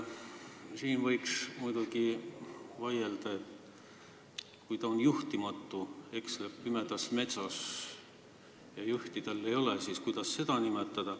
Siin võiks muidugi küsida, et kui ta on juhtimatu, eksleb pimedas metsas ja tal juhti ei ole, siis kuidas seda nimetada.